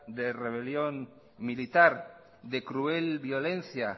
de rebelión militar de cruel violencia